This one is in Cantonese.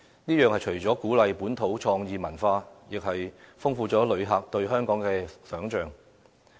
此舉除了鼓勵本土創意文化外，亦豐富了旅客對香港的想象。